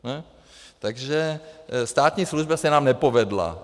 Takže státní služba se nám nepovedla.